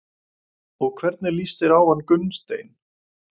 Og hvernig líst þér á hann Gunnsteinn?